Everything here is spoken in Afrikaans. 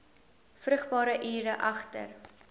vrugbare ure agter